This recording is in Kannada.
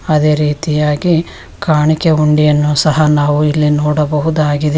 ಅದೇ ರೀತಿಯಾಗಿ ಕಾಣಿಕೆ ಹುಂಡಿಯನ್ನು ಸಹಾ ನಾವು ಇಲ್ಲಿ ನೋಡಬಹುದಾಗಿದೆ.